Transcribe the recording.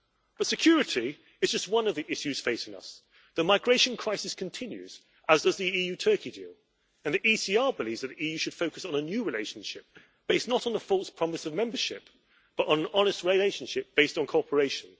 But security is just one of the issues facing us. The migration crisis continues as does the EU Turkey deal, and the ECR believes that the EU should focus on a new relationship based not on the false promise of membership, but on an honest relationship based on cooperation.